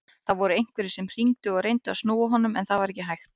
Það voru einhverjir sem hringdu og reyndu að snúa honum en það var ekki hægt.